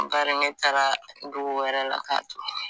Bari ne taara dugu wɛrɛ la k'a to